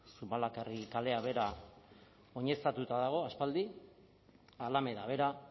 zumalakarregi kalea bera oineztatuta dago aspaldi alameda bera